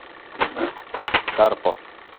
карпов